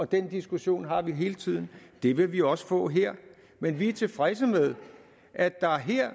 den diskussion har vi hele tiden det vil vi også få her men vi er tilfredse med at der her